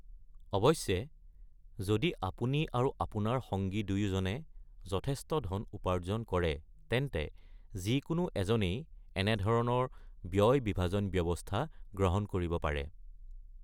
অৱশ্যে, যদি আপুনি আৰু আপোনাৰ সঙ্গী দুয়োজনে যথেষ্ট ধন উপাৰ্জন কৰে, তেন্তে যিকোনো এজনেই এনেধৰণৰ ব্যয়-বিভাজন ব্যৱস্থা গ্ৰহণ কৰিব পাৰে।